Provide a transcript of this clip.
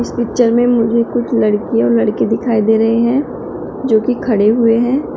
इस पिक्चर में मुझे कुछ लड़कियां और लड़के दिखाई दे रहे हैं जो की खड़े हुए हैं।